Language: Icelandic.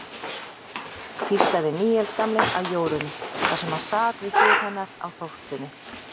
hvíslaði Níels gamli að Jórunni, þar sem hann sat við hlið hennar á þóftunni.